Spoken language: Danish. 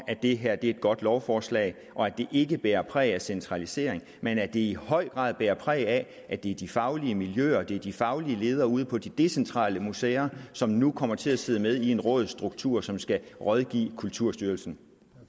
at det her er et godt lovforslag og at det ikke bærer præg af centralisering men at det i høj grad bærer præg af at det er de faglige miljøer at det er de faglige ledere ude på de decentrale museer som nu kommer til at sidde med i en rådsstruktur som skal rådgive kulturarvsstyrelsen